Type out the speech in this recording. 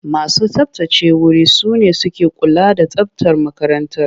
Masu tsabtace wuri su ne suke kula da tsabtar makarantar.